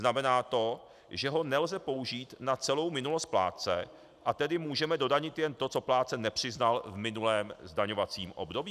Znamená to, že ho nelze použít na celou minulost plátce, a tedy můžeme dodanit jen to, co plátce nepřiznal v minulém zdaňovacím období?